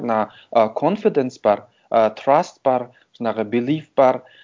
мына ы конфиденс бар ы траст бар жаңағы белив бар